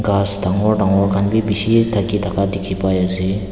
grass dangor dangor khan bhi bishih dekhi thaka pai ase.